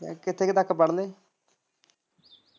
ਕਿੱਥੇ ਕ ਤੱਕ ਪੜਲੇ।